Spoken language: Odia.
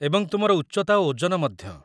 ଏବଂ ତୁମର ଉଚ୍ଚତା ଓ ଓଜନ ମଧ୍ୟ।